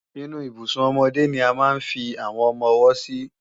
Inú Ibùsùn ọmọdé ni a máa ń fi àwọn ọmọ-ọwọ́ sí